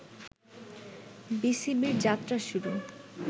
বিসিবির যাত্রা শুরু